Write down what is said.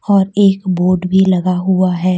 और एक बूट भी लगा हुआ है।